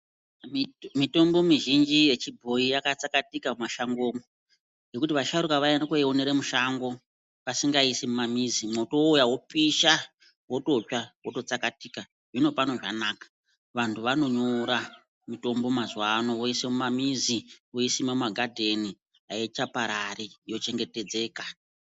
Mitombo mizhinji ye chibhoyi ya tsakatika mu mashango umu nekuti vasharuka vai ende koi onera musango vasinga iyisi mu mamizi mo mwoto uya wopisha wototsva zvoto tsakatika zvino pano zvanaka vantu vano nyora mutombo mazuva ano voise muma mizi voi sima mu magadheni aicha parari yo chengetedzeka.